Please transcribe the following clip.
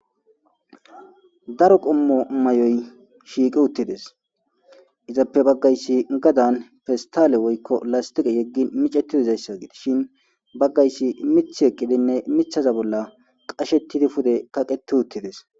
daro qommo may7oy shiiqi uttides izappe baggaysi gadan festale woykko lastiqe yeggi micetidizayssa gites shin baggaysi mith ekkidinne mithaza bolla qashettidi pude kaqeti uttides